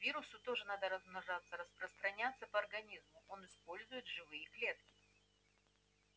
вирусу тоже надо размножаться распространяться по организму он использует живые клетки